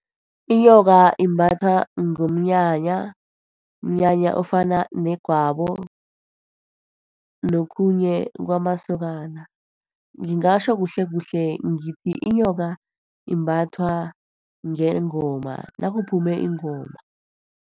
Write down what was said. Inyoka imbathwa ngomnyanya, umnyanya ofana negwabo, nokhunye kwamasokana. Ngingatjho kuhlekuhle ngithi inyoka imbathwa ngengoma, nakuphume ingoma.